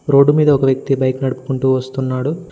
Road మీద ఒక వ్యక్తి బైకు నడుపుకుంటూ వస్తున్నాడు.